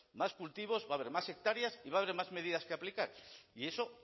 más cultivos va a haber más hectáreas y va a haber más medidas que aplicar y